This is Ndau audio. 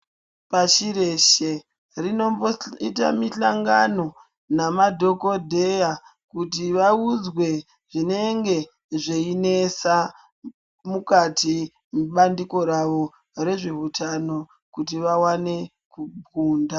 Pashi reshe rinomboita mihlangano namadhokodheya kuti vaudzwe zvinenge zveinesa mukati mebandiko ravo rezveutano kuti vawane kukunda.